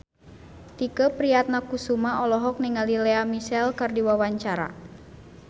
Tike Priatnakusuma olohok ningali Lea Michele keur diwawancara